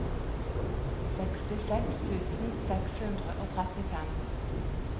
sekstiseks tusen seks hundre og trettifem